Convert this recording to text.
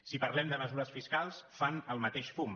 si parlem de mesures fiscals fan el mateix fum